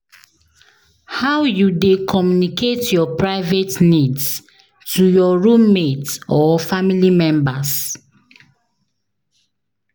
How you dey communicate your private needs to your roommate or family members?